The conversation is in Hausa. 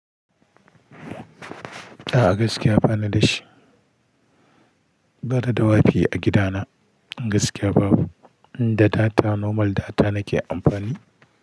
A'a gaskiya banida shi. Banida wifi a gidana. Gaskiya babu. Da data, normal data nake amfani.